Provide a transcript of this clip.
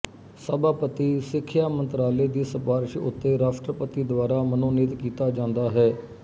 ਸਭਾਪਤੀ ਸਿੱਖਿਆ ਮੰਤਰਾਲੇ ਦੀ ਸਿਫਾਰਿਸ਼ ਉੱਤੇ ਰਾਸ਼ਟਰਪਤੀ ਦੁਆਰਾ ਮਨੋਨੀਤ ਕੀਤਾ ਜਾਂਦਾ ਹੈ